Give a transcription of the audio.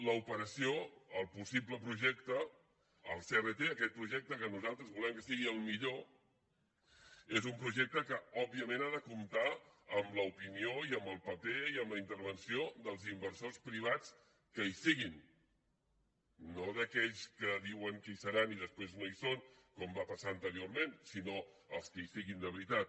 l’operació el possible projecte el crt aquest projecte que nosaltres volem que sigui el millor és un projecte que òbviament ha de comptar amb l’opinió i amb el paper i amb la intervenció dels inversors privats que hi siguin no d’aquells que diuen que hi seran i després no hi són com va passar anteriorment sinó els que hi siguin de veritat